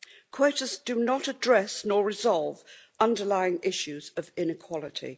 Quotas do not address nor resolve underlying issues of inequality.